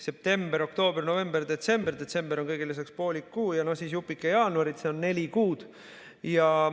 September, oktoober, november, detsember ja jupike jaanuarist, kokku neli kuud.